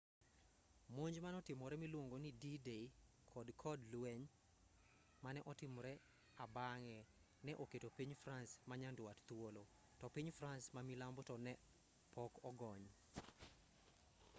monj manotimore miluongoni d-day kod kod lweny mane otimre abang'e ne oketo piny france manyandwat thuolo to piny france mamilambo to ne pok ogony